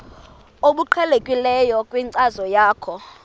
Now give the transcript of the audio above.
obuqhelekileyo kwinkcazo yakho